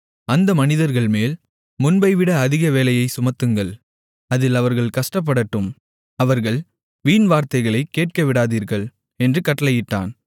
அந்த மனிதர்கள்மேல் முன்பைவிட அதிக வேலையைச் சுமத்துங்கள் அதில் அவர்கள் கஷ்டப்படட்டும் அவர்கள் வீண்வார்த்தைகளைக் கேட்கவிடாதீர்கள் என்று கட்டளையிட்டான்